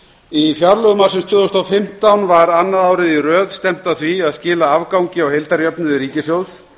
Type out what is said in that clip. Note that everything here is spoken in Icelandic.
í fjárlögum ársins tvö þúsund og fimmtán var annað árið í röð stefnt að því að skila afgangi á heildarjöfnuði ríkissjóðs